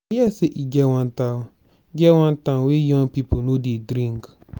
i hear say e get wan town get wan town wey young people no dey drink.